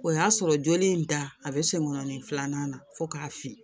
O y'a sɔrɔ joli in da a bɛ sen kɔnɔnin filanan na fo k'a fili